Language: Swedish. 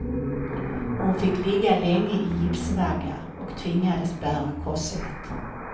Hon fick ligga länge i gipsvagga och tvingades bära korsett.